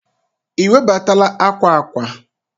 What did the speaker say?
i webatala akwa akwa?